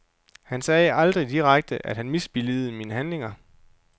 Han sagde aldrig direkte, at han misbilligede mine handlinger.